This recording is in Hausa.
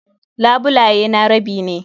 Labulaye na rabi ne.